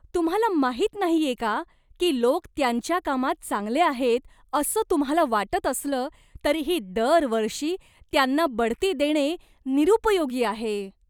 तुम्हाला माहीत नाहीये का की लोक त्यांच्या कामात चांगले आहेत असं तुम्हाला वाटत असलं तरीही दरवर्षी त्यांना बढती देणे निरुपयोगी आहे?